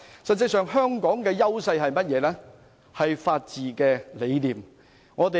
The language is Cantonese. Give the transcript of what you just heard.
實際上，香港的優勢是法治理念。